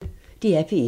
DR P1